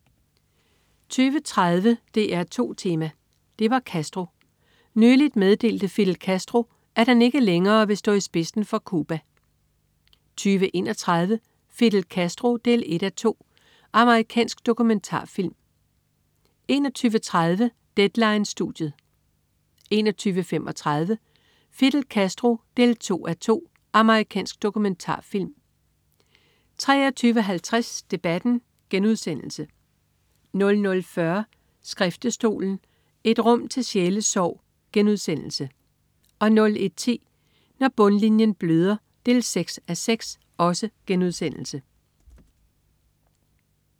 20.30 DR2 Tema: Det var Castro. Nyligt meddelte Fidel Castro, at han ikke længere vil stå i spidsen for Cuba! 20.31 Fidel Castro 1:2. Amerikansk dokumentarfilm 21.30 Deadline-studiet 21.35 Fidel Castro 2:2. Amerikansk dokumentarfilm 23.50 Debatten* 00.40 Skriftestolen. Et rum til sjælesorg* 01.10 Når bundlinjen bløder 6:6*